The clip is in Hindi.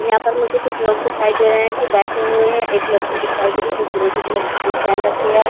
यहाँ पर मुझे कुछ लोग दिखाई दे रहे है की बैठे हुए है। एक लड़की दिखाई दे रही है जो फिरोजी कलर की शूट पहन रखी है।